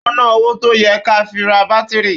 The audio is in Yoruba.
Ó ná owó tó yẹ ká fi ra bátírì